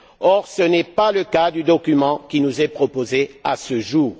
Or ce n'est pas le cas du document qui nous est proposé à ce jour.